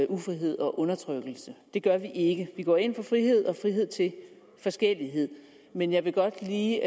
ufrihed og undertrykkelse det gør vi ikke vi går ind for frihed og frihed til forskellighed men jeg vil godt lige